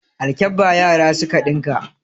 Alkabba yara suka ɗinka.